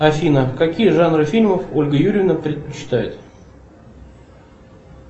афина какие жанры фильмов ольга юрьевна предпочитает